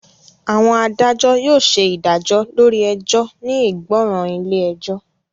Àwọn adájọ́ yóò ṣe ìdájọ́ lórí ẹjọ́ ní ìgbọràn ilé ẹjọ́